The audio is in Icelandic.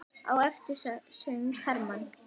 Á eftir söng Hermann